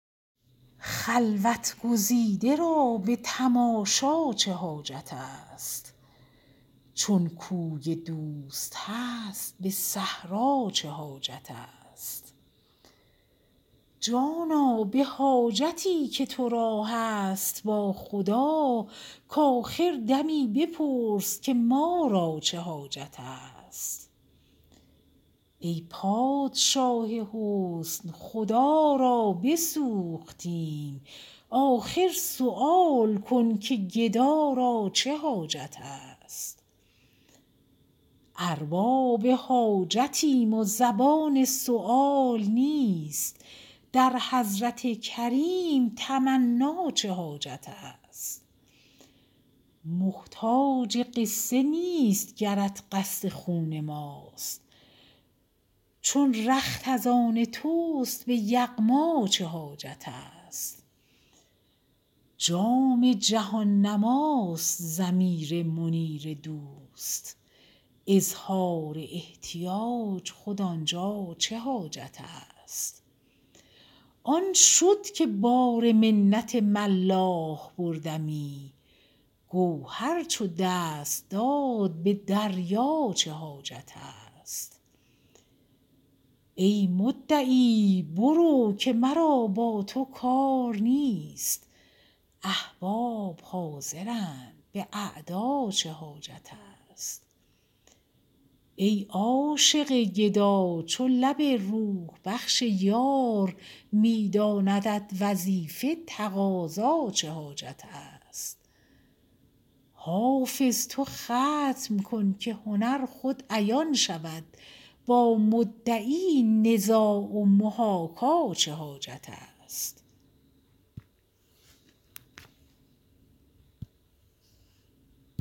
خلوت گزیده را به تماشا چه حاجت است چون کوی دوست هست به صحرا چه حاجت است جانا به حاجتی که تو را هست با خدا کآخر دمی بپرس که ما را چه حاجت است ای پادشاه حسن خدا را بسوختیم آخر سؤال کن که گدا را چه حاجت است ارباب حاجتیم و زبان سؤال نیست در حضرت کریم تمنا چه حاجت است محتاج قصه نیست گرت قصد خون ماست چون رخت از آن توست به یغما چه حاجت است جام جهان نماست ضمیر منیر دوست اظهار احتیاج خود آن جا چه حاجت است آن شد که بار منت ملاح بردمی گوهر چو دست داد به دریا چه حاجت است ای مدعی برو که مرا با تو کار نیست احباب حاضرند به اعدا چه حاجت است ای عاشق گدا چو لب روح بخش یار می داندت وظیفه تقاضا چه حاجت است حافظ تو ختم کن که هنر خود عیان شود با مدعی نزاع و محاکا چه حاجت است